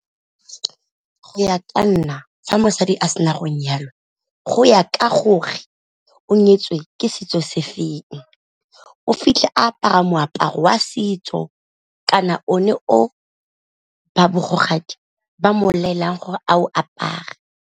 Go ya ka nna sa mosadi a sena go nyalwa go ya ka gore o nyetswe ke setso se feng, o fitlhe apara moaparo wa setso kana o ne o ba bogodi ba mo laelang gore a o apare.